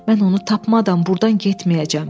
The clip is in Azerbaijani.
Mən onu tapmadan burdan getməyəcəm.